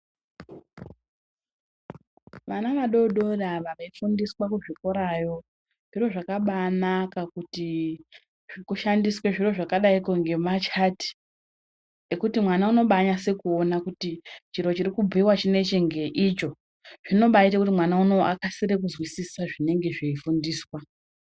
Vana vadodori ava veifundiswa kuzvikorayo, zviro zvakabaanaka kuti kushandiswe zviro zvakadaiko ngemachati, ekuti mwana unobaanase kuona kuti chiro chirikubhuyiwa chinechi ngeicho, zvinobaite kuti mwana inowu akasire kuzwisisa zvinenge zveifundiswa.